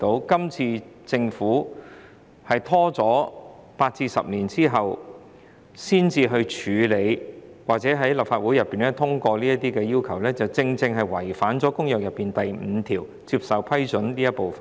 今次政府拖延了8至10年才在立法會通過這些要求，正正違反了《公約》第五條，即"接受批准"這部分。